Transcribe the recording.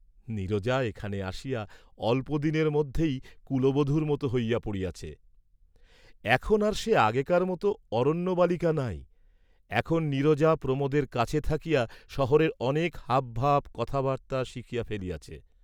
নীরজা এখানে আসিয়া অল্প দিনের মধ্যেই কুলবধূর মত হইয়া পড়িয়াছে, এখন আর সে আগেকার মত অরণ্যবালিকা নাই, এখন নীরজা প্রমােদের কাছে থাকিয়া সহরের অনেক হাবভাব কথাবার্ত্তা শিখিয়া ফেলিয়াছে।